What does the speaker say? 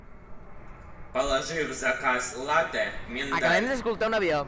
положи в заказ латте миндаль